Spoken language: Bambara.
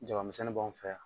Jabamisɛnni b'an fɛ yan